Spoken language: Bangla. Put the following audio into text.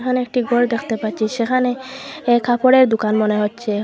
এখানে একটি গর দেখতে পাচ্ছি সেখানে এ কাপড়ের দুকান মনে হচচে।